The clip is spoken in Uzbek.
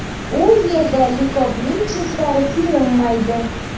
U yerda likopning chetlari ko‘rinmaydi.